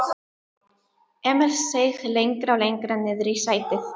Emil seig lengra og lengra niðrí sætið.